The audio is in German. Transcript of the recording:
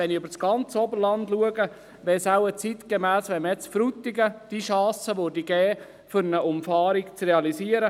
Wenn ich das gesamte Oberland anschaue, wäre es wohl zeitgemäss, wenn man Frutigen die Chance gäbe, diese Umfahrung zu realisieren.